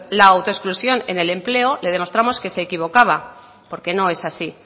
la autoexclusión en el empleo le demostramos que se equivocaba porque no es así